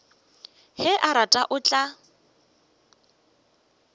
ge a rata o tla